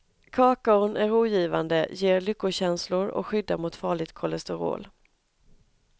Kakaon är rogivande, ger lyckokänslor och skyddar mot farligt kolesterol.